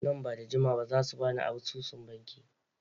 Nan ba da jimawa ba za su ba ni asusun banki.